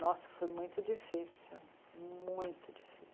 Nossa, foi muito difícil, muito difícil.